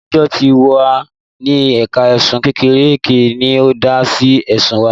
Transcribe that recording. Adájọ́ tí ó wà ní ẹ̀ka ẹ̀sùn kéékèèké ni ó dá sí ẹ̀sùn wa